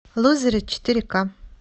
лузеры четыре ка